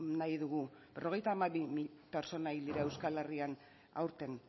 nahi dugu berrogeita hamabi mila pertsona hil dira euskal herrian aurten